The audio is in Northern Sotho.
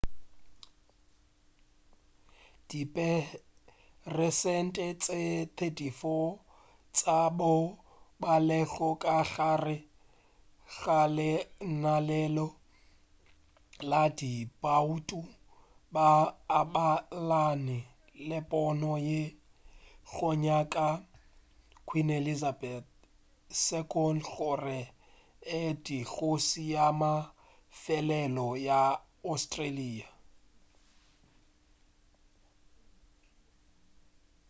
diperesente tše 34 tša bao ba lego ka gare ga lenaneo la diboutu ba abelana le pono ye go nyaka queen elizabeth ii gore a be kgoši ya mafelelo ya australia